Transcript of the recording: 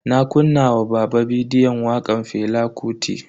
Na kunna wa baba bidiyon wakan Fela Kuti.